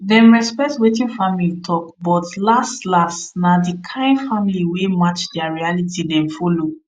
dem respect wetin family talk but last last na the kind life wey match their reality dem follow